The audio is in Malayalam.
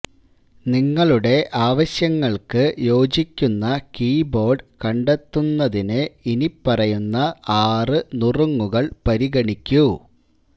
നിങ്ങളുടെ ആവശ്യങ്ങൾക്ക് യോജിക്കുന്ന കീബോർഡ് കണ്ടെത്തുന്നതിന് ഇനിപ്പറയുന്ന ആറു നുറുങ്ങുകൾ പരിഗണിക്കൂ